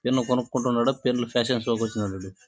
Pen లు కొనుక్కుంటున్నాడా పెన్ను ల ఫ్యాషన్ షో కి వచ్చినాడా వీడు.